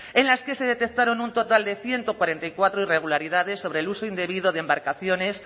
en las que se detectaron un total de ciento cuarenta y cuatro irregularidades sobre el uso indebido de embarcaciones